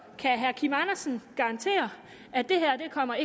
kan herre kim andersen garantere at det her ikke kommer